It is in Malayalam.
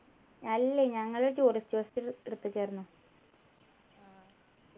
അല്ലി ഞങ്ങള് tourist bus എടുത്തിട്ടായിരുന്നു